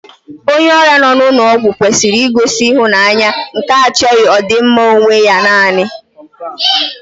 Onye ọrịa nọ n'ụlọ ọgwụ kwesịrị igosi ịhụnanya nke achọghị ọdịmma onwe ya nanị